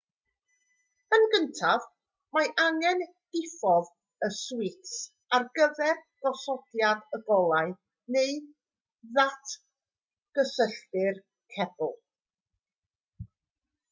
yn gyntaf mae angen diffodd y swits ar gyfer gosodiad y golau neu ddatgysylltu'r cebl